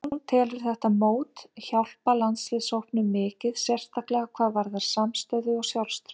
Hún telur þetta mót hjálpa landsliðshópnum mikið, sérstaklega hvað varðar samstöðu og sjálfstraust.